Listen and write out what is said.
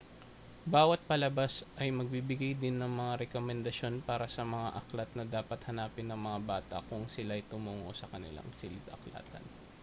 bawat palabas ay magbibigay din ng mga rekomendasyon para sa mga aklat na dapat hanapin ng mga bata kung sila'y tumungo sa kanilang silid-aklatan